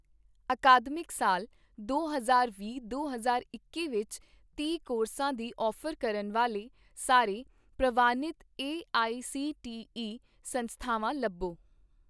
ਅਕਾਦਮਿਕ ਸਾਲ ਦੋ ਹਜ਼ਾਰ ਵੀਹ ਦੋ ਹਜ਼ਾਰ ਇੱਕੀ ਵਿੱਚ ਤੀਹ ਕੋਰਸਾਂ ਦੀ ਔਫ਼ਰ ਕਰਨ ਵਾਲੇ ਸਾਰੇ ਪ੍ਰਵਾਨਿਤ ਏਆਈਸੀਟੀਈ ਸੰਸਥਾਵਾਂ ਲੱਭੋ